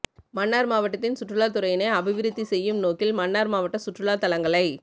மன்னார் மாவட்டத்தின் சுற்றுலா துறையினை அபிவிருத்தி செய்யும் நோக்கில் மன்னார் மாவட்ட சுற்றுலா தளங்களை